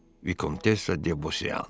Vikontessa de Bosiyan.